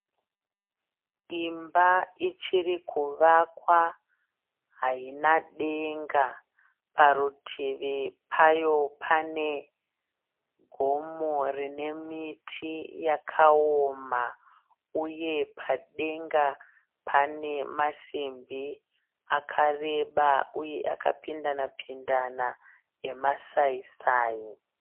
Imba ichiri kuvakwa. Haina denga. Parutivi payo pane gomo rine miti yakaoma uye padenga pane masimbi akareba uye akapindanapindana emasaisai.